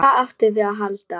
Hvað áttum við að halda?